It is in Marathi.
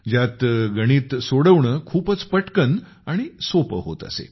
ज्यात गणिते खूपच पटकन आणि सोपी होत असत